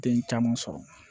Den caman sɔrɔ